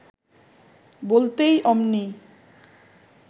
বলতেই অমনি